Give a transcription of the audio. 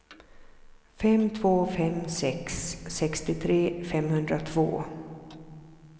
fem två fem sex sextiotre femhundratvå